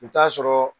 I bɛ t'a sɔrɔ